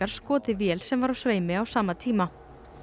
skotið vél sem var á sveimi á sama tíma